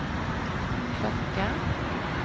klocka